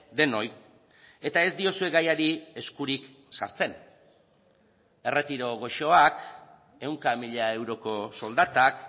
denoi eta ez diozue gaiari eskurik sartzen erretiro goxoak ehunka mila euroko soldatak